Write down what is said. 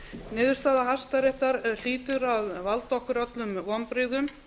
niðurstaða hæstaréttar hlýtur að valda okkur öllum vonbrigðum